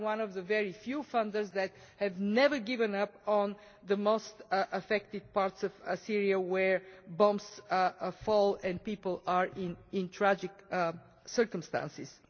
We are one of the very few funders that have never given up on the most affected parts of Syria where bombs fall and people are living in tragic circumstances.